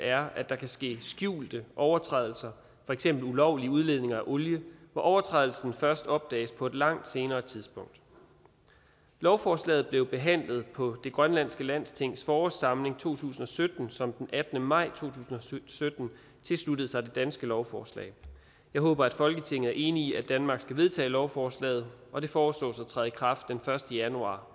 er at der kan ske skjulte overtrædelser for eksempel ulovlig udledning af olie hvor overtrædelsen først opdages på et langt senere tidspunkt lovforslaget blev behandlet på det grønlandske landstings forårssamling to tusind og sytten som den attende maj to tusind og sytten tilsluttede sig det danske lovforslag jeg håber at folketinget er enig i at danmark skal vedtage lovforslaget og det foreslås at træde i kraft den første januar